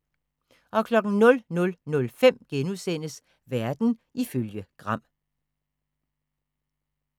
00:05: Verden ifølge Gram *